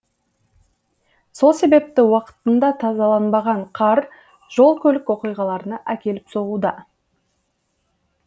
сол себепті уақытында тазаланбаған қар жол көлік оқиғаларына әкеліп соғуда